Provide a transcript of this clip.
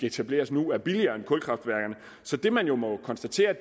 etableres nu er billigere end kulkraftværker så det men jo må konstatere